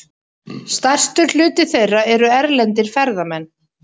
Stærstur hluti þeirra eru erlendir ferðamenn.